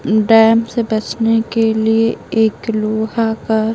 dam से बचने के लिए एक लोहा का --